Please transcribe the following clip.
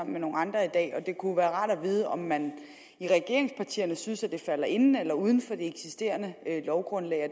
med nogle andre i dag og det kunne være rart at vide om man i regeringspartierne synes at det falder inden for eller uden for det eksisterende lovgrundlag og